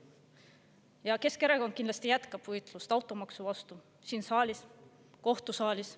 Ja Keskerakond kindlasti jätkab võitlust automaksu vastu siin saalis ja kohtusaalis.